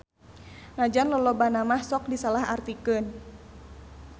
Najan lolobana mah sok disalahartikeun.